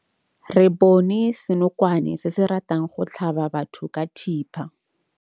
Re bone senokwane se se ratang go tlhaba batho ka thipa.